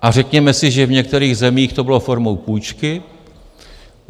A řekněme si, že v některých zemích to bylo formou půjčky.